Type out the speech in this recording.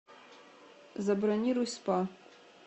забронируй спа